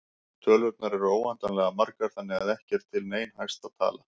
Tölurnar eru óendanlega margar þannig að ekki er til nein hæsta tala.